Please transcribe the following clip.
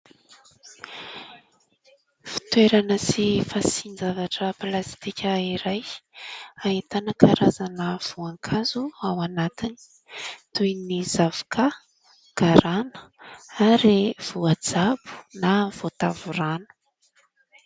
Fitoerana sy fasian-javatra plasitika iray. Ahitana karazana voankazo ao anatiny toy ny zavokà, garana ary voajabo na ny voatavo rano.